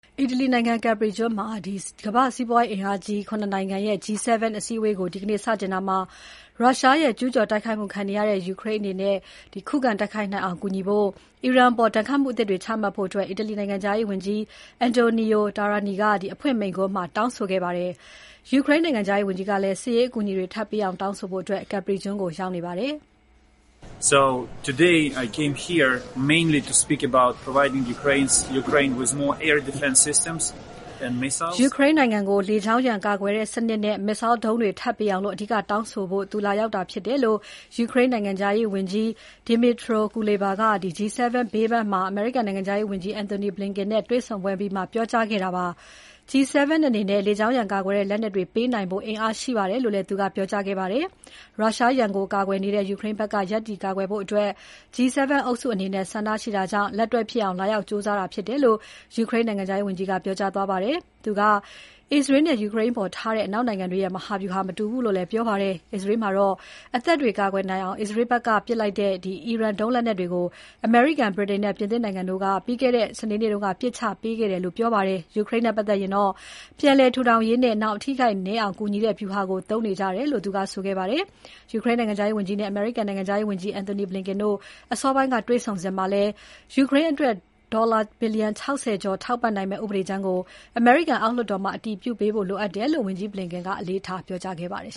အီတလီနိုင်ငံ Capri ကျွန်းမှာ ကမ္ဘာ့စီးပွားရေးအင်အားကြီး ၇ နိုင်ငံရဲ့ G7 စည်းဝေးပွဲကို ဒီနေ့ စတင်ရာမှာ ရုရှားရဲ့ ကျူးကျော်တိုက်ခိုက်မှုခံနေရတဲ့ ယူကရိန်းနိုင်ငံ ခုခံနိုင်အောင် အကူအညီပေးဖို့နဲ့ အီရန်အပေါ် ဒဏ်ခတ်မှု အသစ်တွေ ချမှတ်ဖို့ အီတလီနိုင်ငံခြားရေးဝန်ကြီး Antonio Tajani က အဖွင့်မိန့်ခွန်းမှာ တောင်းဆိုခဲ့ပါတယ်။ ယူကရိန်းနိုင်ငံခြားရေးဝန်ကြီးကလည်း စစ်ရေးအကူအညီတွေထပ်ပေးအောင် တောင်းဆိုဖို့ Capri ကျွန်းကိုရောက်နေပါတယ်။ ယူကရိန်းနိုင်ငံကို လေကြောင်းရန်ကာကွယ်တဲ့စနစ်နဲ့ Missile ဒုံးတွေ ထပ်ပေးအောင် အဓိကတောင်းဆိုဖို့ လာရောက်တာဖြစ်တယ်လို့ ယူကရိန်းနိုင်ငံခြားရေးဝန်ကြီး Dmytro Kuleba က G7 ဘေးပန်းမှာ အမေရိကန်နိုင်ငံခြားရေးဝန်ကြီး Antony Blinken နဲ့တွေ့ဆုံပွဲ အပြီးပြောကြားခဲ့တာဖြစ်ပါတယ်။ G7 အနေနဲ့ လေကြောင်းရန်ကာကွယ်တဲ့ လက်နက်တွေ ပေးနိုင်တဲ့ အင်အားရှိပါတယ်လို့လည်း သူကပြောကြားခဲ့ပါတယ်။ ရုရှားရန်ကို ကာကွယ်နေတဲ့ ယူကရိန်းဘက်က ရပ်တည်ကာကွယ်ဖို့ G7 အုပ်စုအနေနဲ့ ဆန္ဒရှိတာကြောင့် လက်တွေ့ဖြစ်လာအောင် လာရောက်ကြိုးစားတာဖြစ်တယ်လို့ ယူကရိန်းနိုင်ငံခြားရေးဝန်ကြီးက ပြောကြားသွားခဲ့ပါတယ်။ သူက အစ္စရေးနဲ့ ယူကရိန်းအပေါ်ထားတဲ့ အနောက်နိုင်ငံတွေရဲ့ မဟာဗြူဟာ မတူဘူးလို့လည်း ပြောပါတယ်။ အစ္စရေးမှာတော့ အသက်တွေ ကာကွယ်နိုင်အောင် အစ္စရေးဘက်ပစ်တဲ့ အီရန်ဒုံးလက်နက်တွေကို အမေရိကန် ဗြိတိန်နဲ့ ပြင်သစ်နိုင်ငံတို့က ပြီးခဲ့တဲ့ စနေနေ့က ပစ်ချပေးခဲ့တယ်လို့ ပြောပါတယ်။ ယူကရိန်းနဲ့ပတ်သက်ရင်တော့ ပြန်လည်ထူထောင်ရေးနဲ့ နောင်အထိအခိုက်နည်းအောင်ကူညီတဲ့ ဗျူဟာကို သုံးနေကြတယ်လို့ သူက ဆိုခဲ့ပါတယ်။ ယူကရိန်းနိုင်ငံခြားရေးဝန်ကြီးနဲ့ အမေရိကန်နိုင်ငံခြားရေးဝန်ကြီး Antony Blinken တို့အစောပိုင်းက တွေ့ဆုံစဉ်မှာလည်း ယူကရိန်းအတွက် ဒေါ်လာ ဘီလျံ ၆၀ ကျော်ထောက်ပံ့နိုင်မယ့် ဥပဒေကြမ်းကို အမေရိကန်အောက်လွှတ်တော်မှာ အတည်ပြုပေးဖို့လိုအပ်တယ်လို့ ဝန်ကြီး Blinken ကအလေးထားပြောကြားခဲ့ပါတယ်